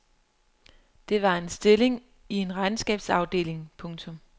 Det var en stilling i en regnskabsafdeling. punktum